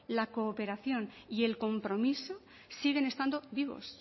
la cooperación y el compromiso siguen estando vivos